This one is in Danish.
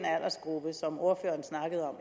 aldersgruppe som ordføreren snakkede om